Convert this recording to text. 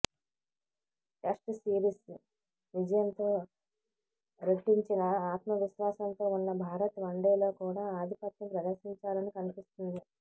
test series విజయంతో రెట్టించిన ఆత్మవిశ్వాసంతో ఉన్న భారత్ వన్డేలో కూడా ఆధిపత్యం ప్రదర్శించాలని కనిపిస్తుంది